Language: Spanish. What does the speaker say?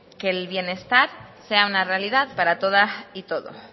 que el bienestar sea una realidad para todas y todos